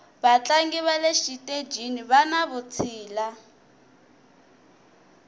vatlangi vale xitejini vani vutshila